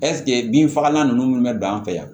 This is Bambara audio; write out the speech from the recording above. ɛsike bin fagalan ninnu bɛ don an fɛ yan